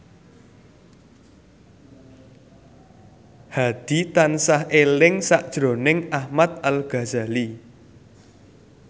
Hadi tansah eling sakjroning Ahmad Al Ghazali